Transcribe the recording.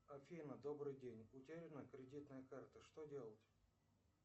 афина добрый день утеряна кредитная карта что делать